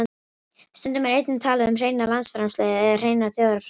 Stundum er einnig talað um hreina landsframleiðslu eða hreina þjóðarframleiðslu.